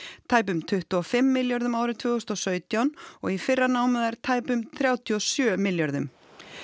tæpum tuttugu og fimm milljörðum árið tvö þúsund og sautján og í fyrra námu þær tæpum þrjátíu og sjö milljörðum